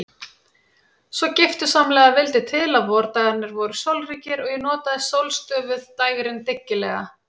Svo giftusamlega vildi til að vordagarnir voru sólríkir og ég notaði sólstöfuð dægrin dyggilega.